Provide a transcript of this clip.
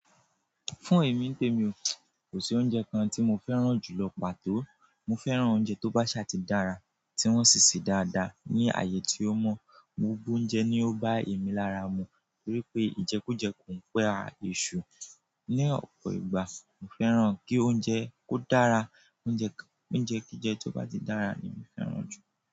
Fún èmi té mi ò, kò sí oúnjẹ kan tí mo fẹ́ràn jù lọ pàtó. Mo fẹ́ràn oúnjẹ tó bá ṣà ti dára, tí wọ́n sì sè dáadáa, ní ààyè tí ó mọ́. Gbogbo oúnjẹ ni ó bá èmi lára mu, torí pé ìjẹkújẹ kò pẹ́ à èṣù. Ni ọ̀pọ̀ ìgbà, mo fẹ́ràn kí oúnjẹ kó dára. Oúnjẹ kíi jẹ tó bá ti dára ni mo fẹ́ràn jù.